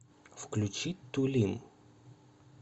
включи тулим